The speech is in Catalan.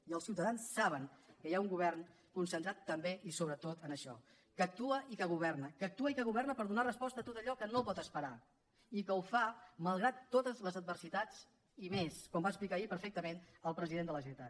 i els ciutadans saben que hi ha un govern concentrat també i sobretot en això que actua i que governa que actua i que governa per donar resposta a tot allò que no pot esperar i que ho fa malgrat totes les adversitats i més com va explicar ahir perfectament el president de la generalitat